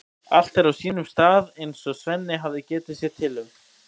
Allt er á sínum stað eins og Svenni hafði getið sér til um.